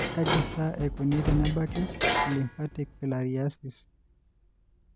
Kaji sa eikoni tenebaki elymphatic filariasis?